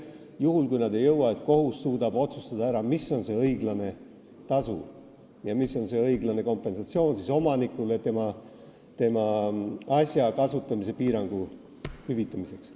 Juhul kui nad ei jõua, siis peaks kohus suutma ära otsustada, mis on see õiglane tasu ja kompensatsioon omanikule tema asja kasutamise piirangu hüvitamiseks.